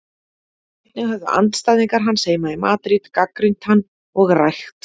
Einnig höfðu andstæðingar hans heima í Madríd gagnrýnt hann og rægt.